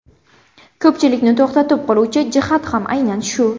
Ko‘pchilikni to‘xtatib qoluvchi jihat ham aynan shu.